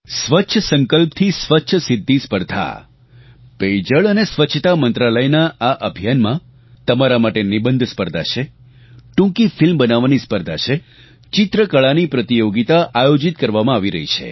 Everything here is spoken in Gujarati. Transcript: સ્વચ્છ સંકલ્પ થી સ્વચ્છ સિદ્ધી સ્પર્ધા પેયજળ અને સ્વચ્છતા મંત્રાલયના આ અભિયાન તમારા માટે નિબંધ સ્પર્ધા છે ટૂંકી ફિલ્મ બનાવવાની સ્પર્ધા છે ચિત્રકળાની પ્રતિયોગિતા આયોજીત કરવામાં આવી રહી છે